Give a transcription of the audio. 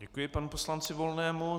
Děkuji panu poslanci Volnému.